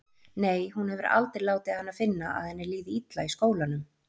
Nei, hún hefur aldrei látið hana finna að henni líði illa í skólanum.